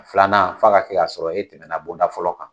Filanan f'a ka kɛ k'a sɔrɔ e tɛmɛna bonda fɔlɔ kan.